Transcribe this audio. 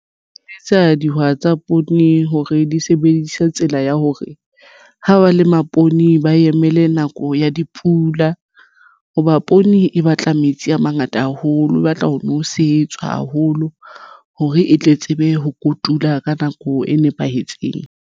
Tsa dihwai tsa poone hore di sebedisa tsela ya hore ha ba lema poone ba emele nako ya dipula hoba poone e batla metsi a mangata haholo e batla ho nosetswa haholo hore e tle tsebe ho kotula ka nako e nepahetseng.